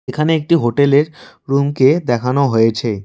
এখানে একটি হোটেল -এর রুম -কে দেখানো হয়েছে।